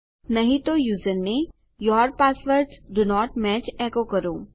નહી તો યુઝરને your passwords do not match એકો કરો